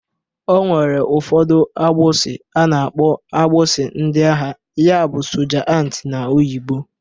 O nwere ụfọdụ akpụsị a na-akpọ akpụsị ndị agha ya bụ soja ant n'oyibo